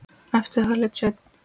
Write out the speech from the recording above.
Eftir það lét Sveinn